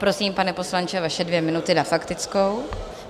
Prosím, pane poslanče, vaše dvě minuty na faktickou.